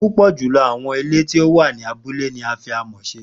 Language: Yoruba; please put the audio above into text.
pupọ julọ awọn ile ti o wa ni abule ni a fi amọ ṣe